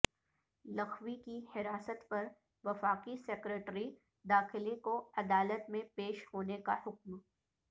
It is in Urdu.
لکھوی کی حراست پر وفاقی سیکرٹری داخلہ کو عدالت میں پیش ہونے کا حکم